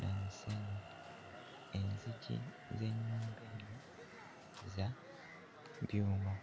na musenyu, enzigi z'ennyumba eno za byuma.